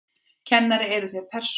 Kennari: Eruð þér persóna?